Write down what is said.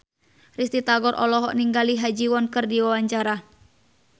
Risty Tagor olohok ningali Ha Ji Won keur diwawancara